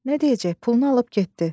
Nə deyəcək, pulunu alıb getdi.